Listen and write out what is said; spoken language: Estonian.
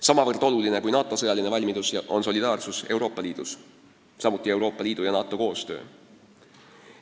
Sama oluline kui NATO sõjaline valmidus on solidaarsus Euroopa Liidus, samuti Euroopa Liidu ja NATO koostöö.